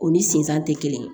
U ni sensan tɛ kelen